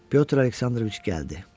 Pyotr Aleksandroviç gəldi.